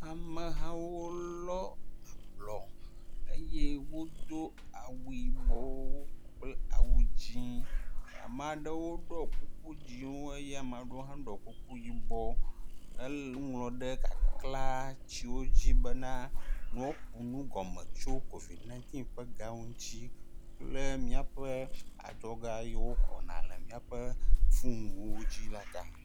Amehawo wolɔ ablɔ eye wodo awu yibɔwo kple awu dzɛ̃. Ame aɖewo ɖɔ kuku dzɛ̃wo eye ame aɖewo hã ɖɔ kuku yibɔwo elé nu ŋlɔ ɖe kaklatiwo dzi be woaku nugɔme tso COVID ɔ̃ɛɣ ƒe adzɔgawo ŋuti kple miaƒe adzɔga yiwo woxɔna ɖe miaƒe fonuwo dzi la ta.